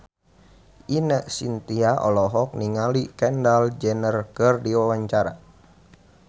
Ine Shintya olohok ningali Kendall Jenner keur diwawancara